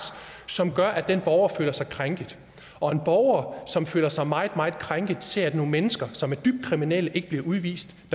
som gør at den borger føler sig krænket og en borger som føler sig meget meget krænket kan se at nogle mennesker som er dybt kriminelle ikke bliver udvist